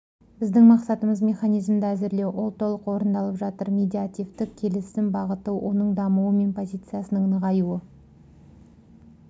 біздің мақсатымыз механизмді әзірлеу ол толық орындалып жатыр медиативтік келісім бағыты оның дамуы мен позицияның нығаюы